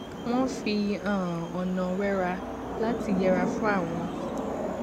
wón fi um ònà wẹra lati yẹra fún àwọn